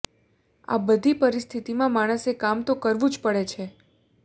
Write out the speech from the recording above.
આ બધી પરિસ્થિતિમાં માણસે કામ તો કરવું જ પડે છે